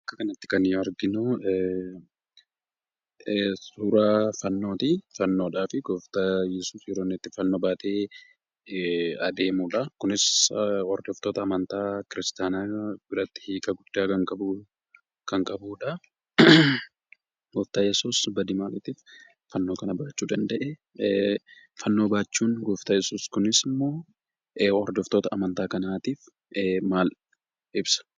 Bakka kanatti kan nuyi arginu, suura fannooti. Gooftan yesus yeroo itti fannoo baatee adeemudha. Kunis ordoftoota amantaa Kiristaayaana biratti hiika guddasa kan qabudha. Gooftan Yesus badii maaliitiif fannoo kana baachuu danda'e?